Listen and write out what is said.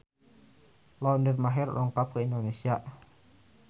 Lauren Maher dongkap ka Indonesia